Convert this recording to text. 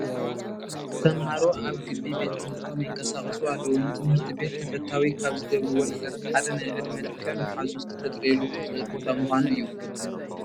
ተመሃሮ ኣብ ግቢ ቤት ትምህርቶም ይንቀሳቐሱ ኣለዉ፡፡ ንትምህርቲ ቤት ተፈታዊ ካብ ዝገብርዎ ነገራት ሓደ ናይ ዕድመ ልክዕ መሓዙት ክተጥርየሉ ትኽል ቦታ ምዃኑ እዩ፡፡